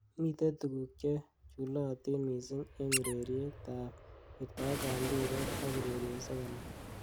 Mitei tukuk chechulatin missing eng ureriet ab wirtaet ab mpiret ak urerosiek alak.